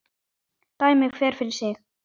Dæmi hver fyrir sig.